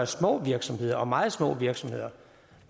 små virksomheder og meget små virksomheder